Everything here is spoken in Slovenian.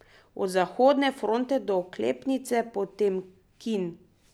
Od Zahodne fronte do Oklepnice Potemkin.